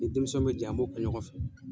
Ni denmisɛnw bɛ jigin, an b'o kɛ ɲɔgɔn fɛ